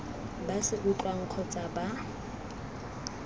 ba se utlwang kgotsa ba